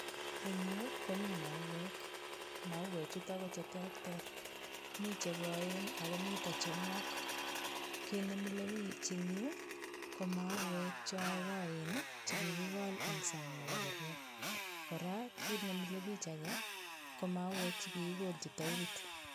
Eng yu komi mauek, mauechutok koterter, mi chekoen akomi chenwok. Kit nemilebich eng yu ko mauek chokoen chikikikol eng sang nepo kerwa. Kora, kit nemilebich ake ko mauek chekikikolchi tairit.